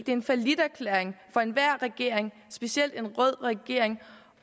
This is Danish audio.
en falliterklæring for enhver regering specielt en rød regering